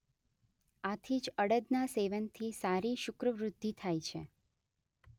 આથી જ અડદના સેવનથી સારી શુક્રવ્રુધ્ધિ થાય છે.